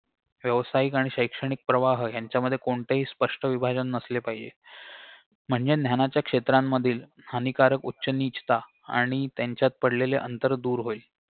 व्यावसायिक आणि शैक्षणिक प्रवाह ह्यांच्यामध्ये कोणतेही स्पष्ट विभाजन नसले पाहिजे म्हणजे ज्ञानाच्या क्षेत्रांमधील हानिकारक उच्च निचता आणि त्यांच्यात पडलेले अंतर दूर होईल